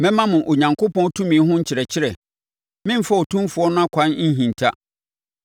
“Mɛma mo Onyankopɔn tumi ho nkyerɛkyerɛ; meremfa Otumfoɔ no akwan nhinta.